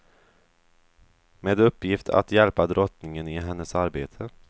Med uppgift att hjälpa drottningen i hennes arbete.